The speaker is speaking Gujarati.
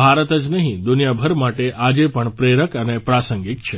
ભારત જ નહીં દુનિયાભર માટે આજે પણ પ્રેરક અને પ્રાસંગિક છે